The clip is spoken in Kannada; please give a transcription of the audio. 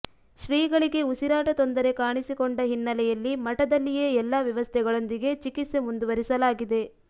ಶ್ರೀಗಳಿಗೆ ಉಸಿರಾಟ ತೊಂದರೆ ಕಾಣಿಸಿಕೊಂಡ ಹಿನ್ನೆಲೆಯಲ್ಲಿ ಮಠದಲ್ಲಿಯೇ ಎಲ್ಲಾ ವ್ಯವಸ್ಥೆಗಳೊಂದಿಗೆ ಚಿಕಿತ್ಸೆ ಮುಂದುವರೆಸಲಾಗಿದೆ